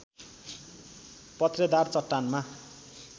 पत्रेदार चट्टानमा